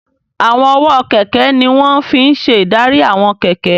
Àwọn ọwọ́ kẹ̀kẹ́ ní wọ́n fi n ṣe ìdarí àwọn kẹ̀kẹ́